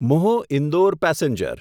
મ્હો Indore passenger